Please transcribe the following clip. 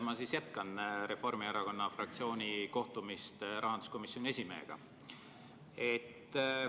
Ma siis jätkan Reformierakonna fraktsiooni kohtumist rahanduskomisjoni esimehega.